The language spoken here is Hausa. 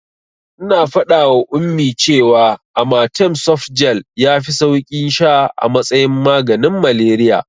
Ina faɗawa Ummi cewa amatem softgel yafi sauki sha a matsayin maganin malariya.